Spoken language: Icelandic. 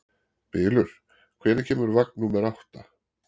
Bylur, hvenær kemur vagn númer átta?